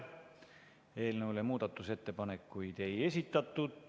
Eelnõu kohta muudatusettepanekuid ei esitatud.